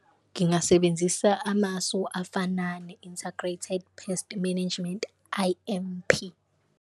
Ngingasebenzisa amasu afana ne-integrated pest management, I_M_P.